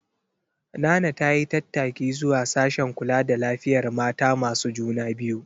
Nana ta yi tattaki zuwa sashen kula da lafiyar mata masu juna biyu.